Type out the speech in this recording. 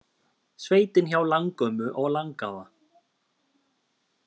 Sveitin hjá langömmu og langafa